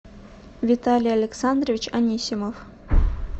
виталий александрович анисимов